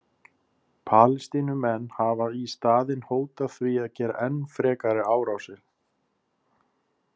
Palestínumenn hafa í staðinn hótað því að gera enn frekari árásir.